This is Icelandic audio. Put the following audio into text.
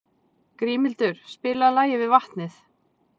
Grímhildur, spilaðu lagið „Við vatnið“.